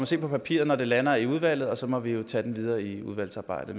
se på papiret når det lander i udvalget og så må vi jo tage den videre i udvalgsarbejdet